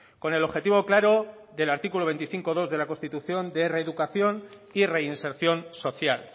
con el objetivo claro del artículo veinticinco punto dos de la constitución de reeducación y reinserción social